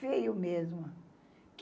Feio mesmo.